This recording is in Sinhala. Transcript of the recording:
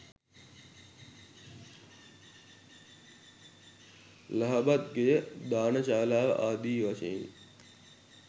ලහබත් ගෙය, දාන ශාලාව ආදී වශයෙනි.